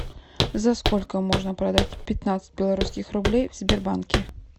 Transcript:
за сколько можно продать пятнадцать белорусских рублей в сбербанке